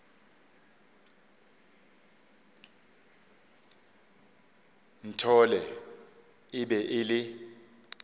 nthole e be e le